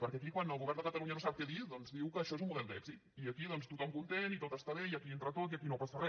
perquè aquí quan el govern de catalunya no sap què dir diu que això és un model d’èxit i aquí tothom content i tot està bé i aquí hi entra tot i aquí no passa re